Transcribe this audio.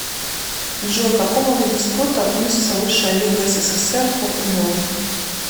джой к какому виду спорта относится высшая лига ссср по футболу